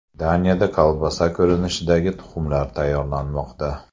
Daniyada kolbasa ko‘rinishidagi tuxumlar tayyorlanmoqda.